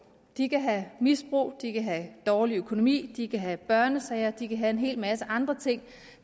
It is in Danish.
de kan have et misbrug de kan have en dårlig økonomi de kan have børnesager kørende de kan have en hel masse andre ting